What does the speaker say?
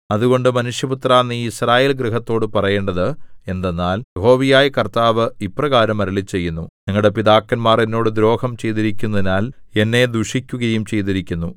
അതുകൊണ്ട് മനുഷ്യപുത്രാ നീ യിസ്രായേൽ ഗൃഹത്തോട് പറയേണ്ടത് എന്തെന്നാൽ യഹോവയായ കർത്താവ് ഇപ്രകാരം അരുളിച്ചെയ്യുന്നു നിങ്ങളുടെ പിതാക്കന്മാർ എന്നോട് ദ്രോഹം ചെയ്തിരിക്കുന്നതിനാൽ എന്നെ ദുഷിക്കുകയും ചെയ്തിരിക്കുന്നു